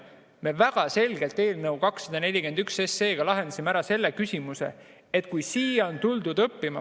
Me väga selgelt lahendasime eelnõuga 241 ära selle küsimuse, et kui siia on tuldud õppima ...